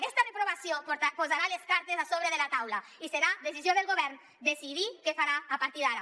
aquesta reprovació posarà les cartes a sobre de la taula i serà decisió del govern decidir què farà a partir d’ara